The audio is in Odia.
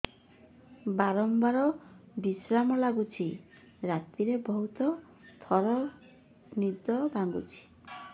ବାରମ୍ବାର ପରିଶ୍ରା ଲାଗୁଚି ରାତିରେ ବହୁତ ଥର ନିଦ ଭାଙ୍ଗୁଛି